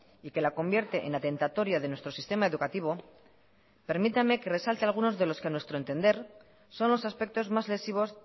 y que la convierte en atentatoria de nuestro sistema educativo permítame que resalte algunos de los que a nuestro entender son los aspectos más lesivos